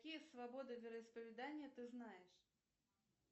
какие свободы вероисповедания ты знаешь